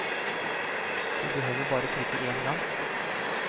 Du behøver bare å klikke en gang.